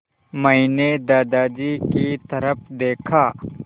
मैंने दादाजी की तरफ़ देखा